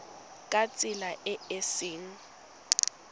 ka tsela e e seng